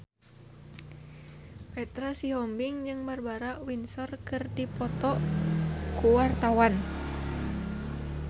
Petra Sihombing jeung Barbara Windsor keur dipoto ku wartawan